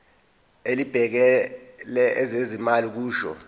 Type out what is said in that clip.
elibhekele ezezimali kusho